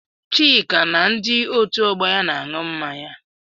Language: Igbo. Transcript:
Chika na ndi otu ọgbọ ya na-aṅụ mmanya.